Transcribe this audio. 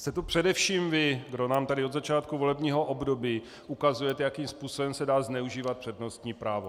Jste to především vy, kdo nám tady od začátku volebního období ukazujete, jakým způsobem se dá zneužívat přednostní právo.